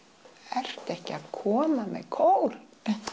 ertu ekki að koma með kór